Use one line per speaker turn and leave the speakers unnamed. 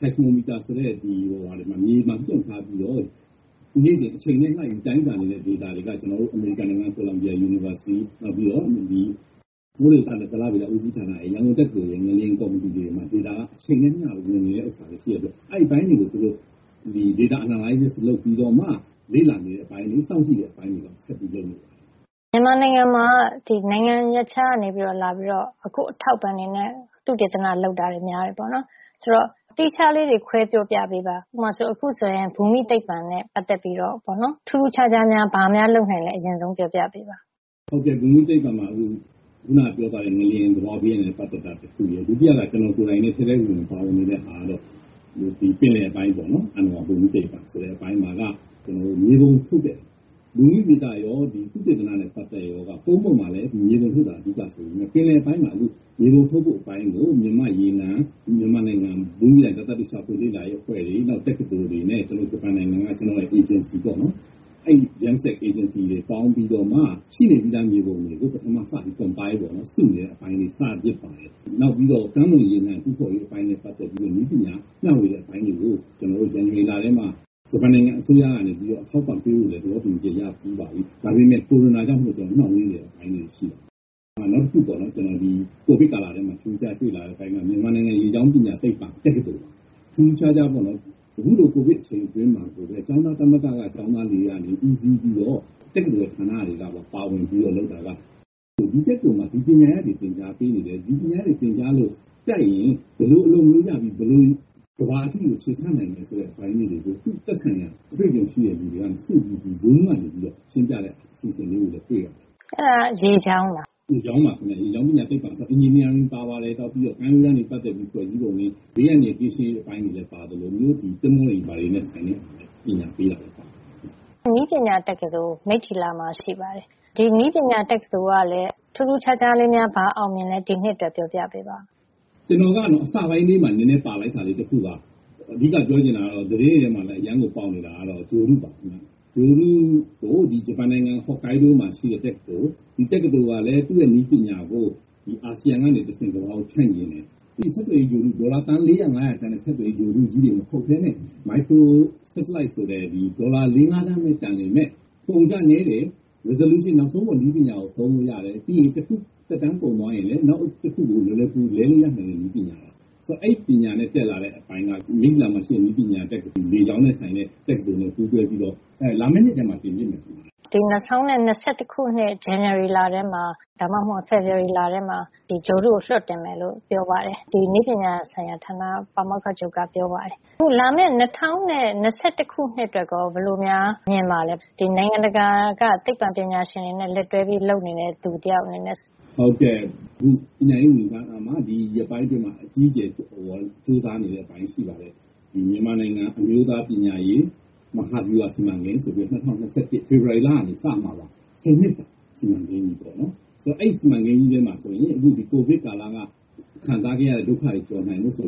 seismometer ဆိုတဲ့ စက်နဲ့ နေရာတခုမှာ ငလျင် လှုပ်တာကို အချိန်နဲ့ လိုက်ပြီး တိုင်းတာနေတဲ့ ဒေတာတွေက. ကျနော်တို့ တက္ကသိုလ် ၊ မိုးလေဝဿနဲ့ ဇလဗေဒဦးစီးဌာန နောက် ရန်ကုန်တက္ကသိုလ် ငလျင် ကော်မတီတွေမှာ data က အချိန်နဲ့ အမ ျှ ဝင်နေတာတွေ ရှိတဲ့ အတွက် အဲဒီအပိုင်းတွေကို သူတို့ data analysis အချက်လက်ဆန်းစစ်ပြီးတော့ လေ့လာနေတဲ့ အပိုင်းတွေ စောင့်ကြည့်နေတဲ့ အပိုင်းတွေရှိပါတယ်။
မြန်မာနိုင်ငံမှာက နိုင်ငံရပ်ခြားကနေ လာပြီးတော့ အထောက်အပံ့တွေနဲ့ သုတေသန လုပ်တာ များပါတယ်။ အဲဒီသုတေသနတွေ အကြောင်း သီးခြားခွဲပြောပြပေးပါ။ ဥပမာ ဘူမိသိပ္ပံနဲ့ ပတ်သက်ပြီးတော့ ထူးထူးခြားခြား ဘာများလုပ်နိုင်လဲ ပြောပြပေးပါ။
ဟုတ်ကဲ့ ဘူမိသိပ္ပံမှာက ခုနပြောခဲ့တဲ့ ငလျင်နဲ့ သဘာဝဘေးအန္တရာယ်နဲ့ ပတ်သက်တာ တခု။ ဒုတိယက ကျနော်ကိုယ်တိုင်လည်း ထဲထဲဝင်ဝင်နဲ့ ပါနေတဲ့ အပိုင်းကတော့ ပင်လယ်ပိုင်းပေါ့နော်။ အဏ္ဏဝါဘူမိသိပ္ပံဆိုတဲ့ အပိုင်းမှာက ကျနော်တို့ မြေပုံထုတ်တဲ့ ဘူမိဗေဒရော သုတေသရောက ဒီကုန်းပေါ်မှာ မြေပုံထုတ်တာက အဓိက ဆိုပေမယ့် အခုဒီပင်လယ်ပိုင်း မှာ ဒီမြေပုံထုတ်ဖို့ ဆိုတဲ့ အပိုင်းကို မြန်မာ့ရေနံ၊ မြန်မာနိုင်ငံ ဘူမိဗေဒနဲ့ သတ္တုရှာဖွေလေ့လာတဲ့ အဖွဲ့တွေ နောက် တက္ကသိုလ်တွေနဲ့ ကျနော်တို့ ဂျပန်နိုင်ငံက အေဂျင်စီတွေနဲ့ ပေါင်းပြီးတော့မှ ရှိနေပြီးသား မြေပုံတွေကို ပထမစပြီး compile ပေါ့နော် ။ စုနေတဲ့ အပိုင်းလေးတွေ လုပ်ဖြစ်ပါတယ်။ နောက် ကမ်းလွန်ရေနံ တူးဖေါ်ရေးနဲ့ ပတ်သက်ပြီး နည်းပညာ မ ျှဝေတဲ့ အပိုင်းတွေကို ဇန်နဝါရီလထဲမှာ ကျနော်တို့ ဂျပန်နိုင်ငံ အစိုးရကနေ အထောက်အပံ့ပေးဖို့လည်း သဘောတူညီချက် ရပြီးပါပြီ။ ဒါပေမယ့် ကိုရိုနာကြောင့်မို့ နှောင့်နှေးနေတဲ့ အပိုင်းလေးတွေ ရှိပါတယ်။ နောက်တခု ဒီကိုဗစ်ကာလထဲမှာ ထူးထူးခြားခြား တွေ့လာရတဲ့ အပိုင်းက မြန်မာနိုင်ငံ ရေကြောင်း ပညာ သိပ္ပွံ တက္ကသိုလ်ပါ။ အခုလိုကိုဗစ် အချိန် အတွင်းမှာကိုပဲ ကျောင်းသားသမဂ္ဂက ကျောင်းသားတွေ ကနေ ဦးစီးပြီးတော့ တက္ကသိုလ်ဌာန တွေကပါ ပါဝင်ပြီးတော့ လုပ်တာပါ။ ဒီတက္ကသိုလ်မှာ ဒီပညာရပ်တွေကို သင်ကြားပေးနေတယ်။ ဒီပညာရပ်တွေ သင်ကြားပြီးလို့ တတ်ရင် ဘယ်လို အလုပ်မျိုး ရပြီး ဘယ်လိုကမ္ဘာအထိ ခြေဆန့်နိုင်မယ် ဆိုတဲ့ အပိုင်းလေးတွေကို သူ့ သက်ဆိုင်ရာ အတွေ့အကြုံရှိတဲ့ လူတွေက တင်ပြတဲ့ အစီအစဉ်လေးတွေကိုလည်း တွေ့ရပါတယ်။
အဲဒါက ရေကြောင်းပေါ့နော်။
ရေကြောင်းပါ ခင်ဗျ။ ရေကြောင်း ပညာသိပ္ပံ။ ပထဝီ က ပါပါတယ်။ နောက် ကမ်းရိုးတန်း နဲ့ ပတ်သက်ပြီး ဖွဲ့စည်းတာတွေ၊ ဘေးအန္တရာယ် ကင်းရှင်းအောင် လုပ်တဲ့ အပိုင်းတွေလည်း ပါသလို စိမ်းလန်းအောင် စီမံပေးရတာ တွေလည်း ပါပါတယ်ခင်ဗျ။
လေကြောင်းနဲ့ အာကာသဆိုင်ရာ နည်းပညာတက္ကသိုလ်က မိတ္တီလာမှာလည်း ရှိပါတယ်။ ထူးထူးခြားခြား ဒီနှစ်အတွက် အောင်မြင်တာ ပြောပြပေးပါ။
ကျနော်က အစပိုင်းမှာ နဲနဲပါလိုက်တာလေး တခုက အဓိက ပြောချင်တာကတော့ သတင်းတွေ ထဲမှာ ပေါက်နေတာ ကတော့ ဂြိုဟ်တုပါခင်ဗျ။ ဂြိုဟ်တုကို ဒီ ဂျပန်နိုင်ငံဟော်ကိုင်းဒိုး မှာ ရှိတဲ တက္ကသိုလ်။ ဒီတက္ကသိုလ်က သူ့ရဲ့ နည်းပညာကို ဒီအာဆီယံ ကနေ တဆင့် ကမ္ဘာကို ဖြန့်ချင်နေတယ်။ ဒေါ်လာ သန်း ၄၀၀ - ၅၀၀ တန်တဲ့ ဆက်သွယ်ရေး ဂြိုဟ်တုကြီးတွေ မဟုတ်ပဲနဲ့ မိုက်ခရို စက်တလိုက် micro satellite ဆိုတဲ့ ဒီ ဒေါ်လာ ၄ - ၅ သန်းပဲ တန်ပေမယ့် အကုန်အကျ နဲတယ်။ resolution ဒီ နောက်ဆုံးပေါ် နည်းပညာကိုသုံးလို့ ရတယ်။ ပြီးရင် တခု သက်တမ်း ကုန်သွားရင်လည်း နောက်တခုကို လွယ်လွယ်ကူကူ လဲလို့ ရနိုင်တဲ့ နည်းပညာ။ အဲဒီ နည်းပညာနဲ့ တက်လာတဲ့ အပိုင်းက မိတ္တီလာက လေကြောင်းနဲ့ဆိုင်တဲ့ တက္ကသိုလ်က ပူးတွဲပြီးတော့ လာမယ့် နှစ်ထဲမှာ လွှတ်တော့မှာ ထင်တယ်။
ဒီ ၂၀၂၁ ဇန်နဝါရီလထဲမှာ၊ ဒါမှမဟုတ် ဒီ ဖေဖေါ်ဝါရီလထဲမှာ ဒီဂြိုဟ်တုကို လွှတ်တင်မယ်လို့ ပါမောက္ခ ချုပ်က ပြောပါတယ်။ အခု လာမယ့် ၂၀၂၁ အတွက် ရော ဘယ်လိုများ မြင်ပါသလဲ။ နိုင်ငံတကာက သိပ္ပံပညာရှင်တွေနဲ့ လက်တွဲပြီးတော့ လုပ်နေတဲ့ သူတယောက် အနေနဲ့
ဟုတ်ကဲ့။. အခု ပညာရေးဝန်ကြီး ဌာနက ဒီရက်ပိုင်း အတွင်းမှာ အကြီးအကျယ် ကြိုးစား နေတဲ့ အပိုင်း ရှိပါတယ်။. ဒီမြန်မာနိုင်ငံ အမျိုးသား ပညာရေး မဟာဗျူဟာ စီမံကိန်း ဆိုပြီးတော့ ဒီ ၂၀၂၁ ဖေဖေါ်ဝါရီလ ကနေ စမှာပါ။ ၁၀ နှစ် စီမံကိန်းပေါ့နော်။ အဲဒီ စီမံကိန်းကြီး ထဲမှာ ဆိုရင် အခု ဒီ ကိုဗစ်ကာလက ခံစားခဲ့ရတဲ့ ဒုက္ခတွေကို ကျော်နိုင်ဖို့ ဆို